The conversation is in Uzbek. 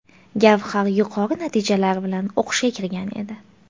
Gavhar yuqori natijalar bilan o‘qishga kirgan edi.